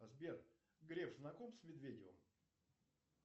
сбер греф знаком с медведевым